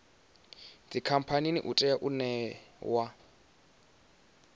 dzikhamphani u tea u ṋewa